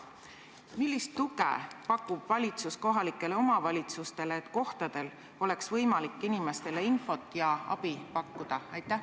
Millist tuge pakub valitsus kohalikele omavalitsustele, et neil oleks võimalik inimestele infot ja abi pakkuda?